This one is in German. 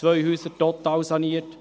ich habe zwei Häuser totalsaniert.